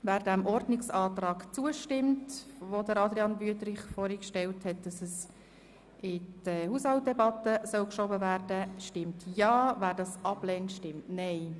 Wer den Antrag von Grossrat Wüthrich, das Geschäft in die Haushaltsdebatte zu verschieben, annehmen will, stimmt Ja, wer dies ablehnt, stimmt Nein.